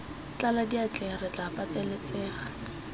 tlala diatleng re tla pateletsega